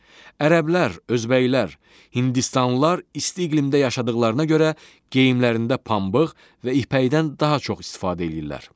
Ərəblər, özbəklər, hindistanlılar isti iqlimdə yaşadıqlarına görə geyimlərində pambıq və ipəkdən daha çox istifadə eləyirlər.